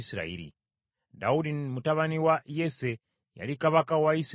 Dawudi mutabani wa Yese yali kabaka wa Isirayiri yenna.